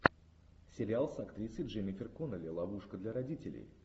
сериал с актрисой дженнифер коннелли ловушка для родителей